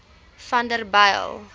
vanderbijl